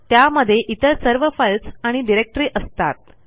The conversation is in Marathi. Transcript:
त्यामध्ये इतर सर्व फाईल्स आणि डिरेक्टरी असतात